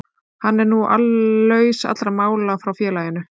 Hann er nú laus allra mála frá félaginu.